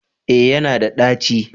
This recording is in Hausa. Eh ya na da ɗaci